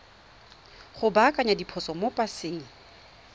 go baakanya diphoso mo paseng